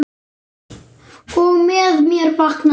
Og með mér vaknar grunur.